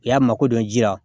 I y'a mako dɔn ji la